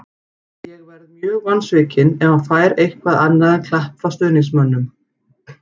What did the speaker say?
Ég verð mjög vonsvikinn ef hann fær eitthvað annað en klapp frá stuðningsmönnum.